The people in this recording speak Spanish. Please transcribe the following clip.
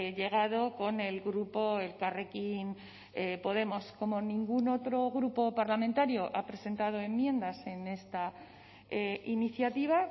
llegado con el grupo elkarrekin podemos como ningún otro grupo parlamentario ha presentado enmiendas en esta iniciativa